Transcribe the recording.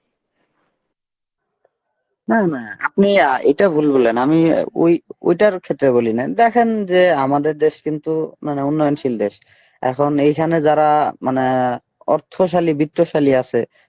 আপনি এইটা ভুল বললেন আমি ওই ওইটার ক্ষেত্রে বলিনি দেখেন যে আমাদের দেশ কিন্তু মানে উন্নয়নশীল দেশ এখন এইখানে যারা মানে অর্থশালী বিত্তশালী আছে